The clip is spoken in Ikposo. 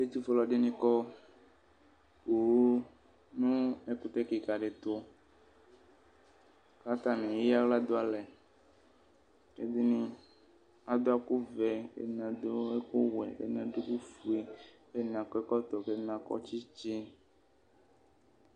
Ɛtufue alʋ ɛdini kɔ poo nʋ ɛkʋtɛ kika di ɛtʋ kʋ atani aya aɣla dʋ alɛ kʋ ɛdini adʋ ɛkʋvɛ kʋ ɛdini adʋ ɛkʋwɛ kʋ ɛdini adʋ ɛkʋfue kʋ ɛdini atu tsitsi